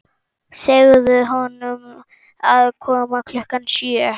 Segðu honum að koma klukkan sjö.